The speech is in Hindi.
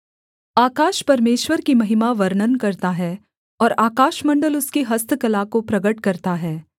आकाश परमेश्वर की महिमा वर्णन करता है और आकाशमण्डल उसकी हस्तकला को प्रगट करता है